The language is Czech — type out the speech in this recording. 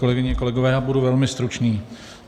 Kolegyně, kolegové, já budu velmi stručný.